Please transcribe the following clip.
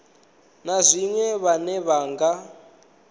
na zwiṅwe vhane vha nga